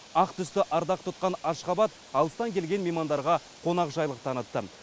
ақ түсті ардақ тұтқан ашхабат алыстан келген меймандарға қонақжайлық танытты